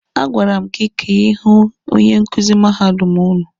A gwara m gị ka ị hụ onye nkuzi mahadum ụnụ!